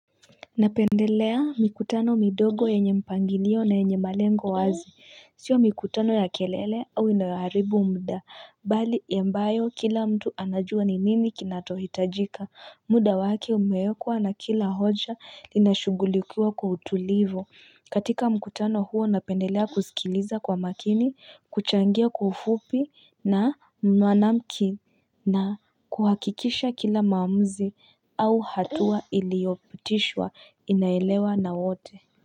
Napendelea mikutano midogo yenye mpangilio na yenye malengo wazi Sio mikutano ya kelele au inayoharibu muda. Bali ambayo kila mtu anajua ni nini kinacho hitajika muda wake umeekwa na kila hoja linashughulikiwa kwa utulivu katika mkutano huo napendelea kusikiliza kwa makini kuchangia kwa ufupi na mwanamki na kuhakikisha kila maamuzi au hatua iliyopitishwa inaelewa na wote.